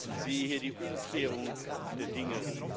Ich sehe hier die Umkehrung der Dinge.